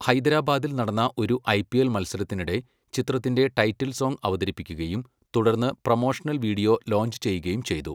ഹൈദരാബാദിൽ നടന്ന ഒരു ഐപിഎൽ മത്സരത്തിനിടെ ചിത്രത്തിന്റെ ടൈറ്റിൽ സോംഗ് അവതരിപ്പിക്കുകയും തുടർന്ന് പ്രൊമോഷണൽ വീഡിയോ ലോഞ്ച് ചെയ്യുകയും ചെയ്തു.